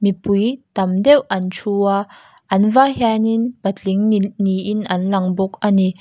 mipui tam deuh an thu a an vai hian in patling ni niin an lang bawk a ni.